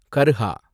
கர்ஹா